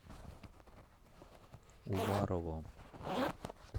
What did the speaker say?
уварово